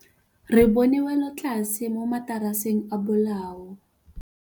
Re bone wêlôtlasê mo mataraseng a bolaô.